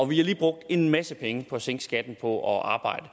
vi har lige brugt en masse penge på at sænke skatten på at arbejde